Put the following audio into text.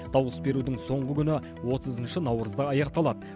дауыс берудің соңғы күні отызыншы наурызда аяқталады